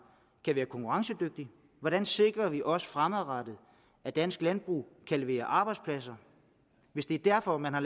kan være konkurrencedygtigt hvordan sikrer vi også fremadrettet at dansk landbrug kan levere arbejdspladser hvis det er derfor at man har